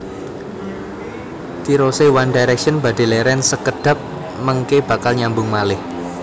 Tirose One Direction badhe leren sekedhap mengke bakal nyambung malih